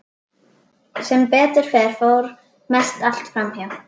Sem betur fer fór mest allt fram hjá.